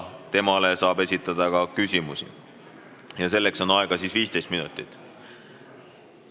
Temale saab esitada ka küsimusi ja selleks on aega 15 minutit.